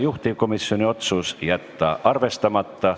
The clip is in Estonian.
Juhtivkomisjoni otsus: jätta arvestamata.